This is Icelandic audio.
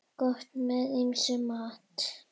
Gott með ýmsum mat.